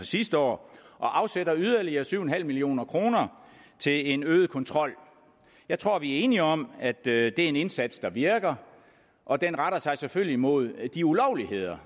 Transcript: sidste år og afsætter yderligere syv million kroner til en øget kontrol jeg tror vi er enige om at det er en indsats der virker og den retter sig selvfølgelig mod de ulovligheder